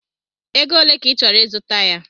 Ego ole ka ị chọrọ ịzụta ya?